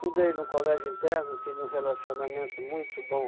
num colégio interno, tinha um relacionamento muito bom.